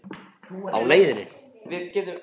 Á leiðinni?